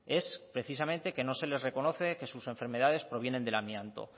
es precisamente que no se les reconoce que sus enfermedades provienen del amianto